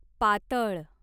पातळ